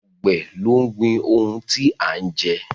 Àgbẹ̀ ló ń gbin ohun tí a ń jẹ